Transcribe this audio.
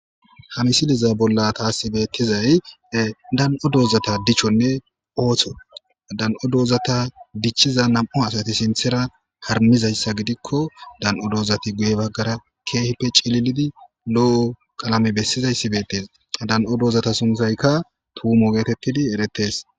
hamisiliza bolla taasi beettizay dan7o doozata dichchonne ooththon dan7o doozata dichchiza nam7o asati sinthera harmizayssa gidikko dan7o doozati guye baggara keehippe cililidi lo7o qalame bessizayssi beettes dan7o doozata sunthaykka tuumo geeteppidi eretes